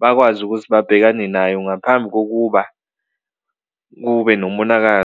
bakwazi ukuthi babhekane nayo ngaphambi kokuba kube nomonakalo.